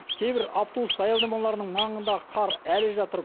кейбір автобус аялдамаларының маңындағы қар әлі жатыр